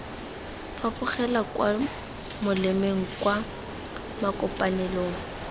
fapogela kwa molemeng kwa makopanelong